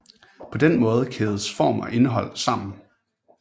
På den måde kædes form og indhold sammen